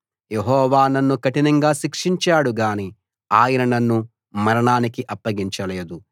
యెహోవా నన్ను కఠినంగా శిక్షించాడు గానీ ఆయన నన్ను మరణానికి అప్పగించలేదు